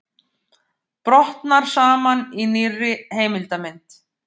Brotnar saman í nýrri heimildarmynd